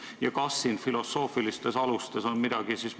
Ja kas siin on filosoofilistes alustes midagi muutunud?